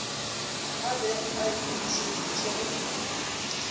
a bego a ikemišeditše go